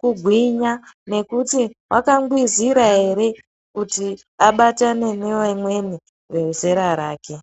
kugwinya, nekuti wakangwizira ere kuti abatane nevamweni vezera rake.